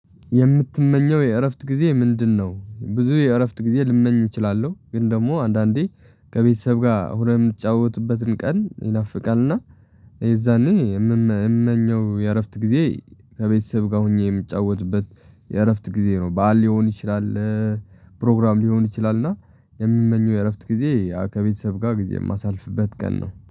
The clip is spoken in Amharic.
የምትመኘው የእረፍት ጊዜ ምንድነው? ብዙ የእረፍት ጊዜ ልመኝ እችላለሁ ግን ደግሞ አንዳንዴ ከቤተሰብ ጋር ሆነህ የምትጫወቱበትን ቀን ይናፍቃል። እና የዛኔ የምመኘው የእረፍት ጊዜ ከቤተሰብ ጋር ሆኜ የምጫወትበት የእረፍት ጊዜ ነው በዓል ሊሆን ይችላል። ፕሮግራም ሊሆን ይችላልና የምመኘው የእረፍት ጊዜ ከቤተሰብ ጋር ጊዜ የማሳልፍበት ቀን ነው